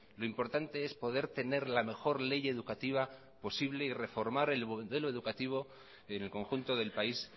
lo importante es poder tener la mejor ley educativa posible y reformar el modelo educativo en el conjunto del país